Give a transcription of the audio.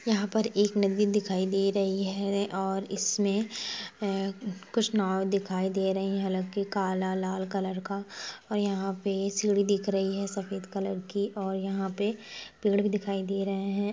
यहाँ पर एक नदी दिखाई दे रही है और इसमें कुछ नाव दिखाई दे रही है हालांकि काला लाल कलर का और यहाँ पे एक सीढ़ी देख रही है सफेद कलर की और यहाँ पर पेड़ भी दिखाई दे रहे है।